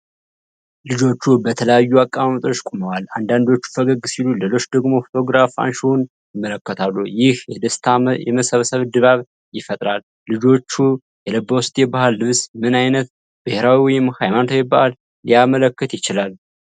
ልጆቹ በተለያዩ አቀማመጦች ቆመዋል፣ አንዳንዶቹ ፈገግ ሲሉ፣ ሌሎቹ ደግሞ ፎቶግራፍ አንሺውን ይመለከታሉ፣ ይህም የደስታና የመሰብሰብ ድባብ ይፈጥራል። ልጆቹ የለበሱት የባህል ልብስ ምን አይነት ብሔራዊ ወይም ሃይማኖታዊ በዓልን ሊያመለክት ይችላል?